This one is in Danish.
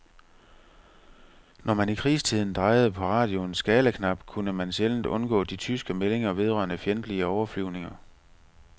Når man i krigstiden drejede på radioens skalaknap, kunne man sjældent undgå de tyske meldinger vedrørende fjendtlige overflyvninger.